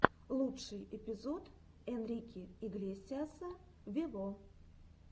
лучший эпизод энрике иглесиаса вево